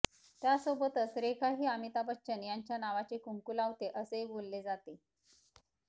त्यासोबतच रेखा ही अमिताभ बच्चन यांच्या नावाचे कुंकू लावते असेही बोलले जाते